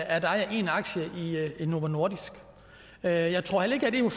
at eje en aktie i novo nordisk jeg tror heller ikke at en